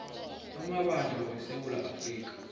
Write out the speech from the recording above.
amabanjwa wesewula afrika